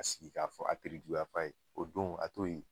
Ka sigi ka fɔ ka terejuguya fɔ a ye. O don a t'o ye.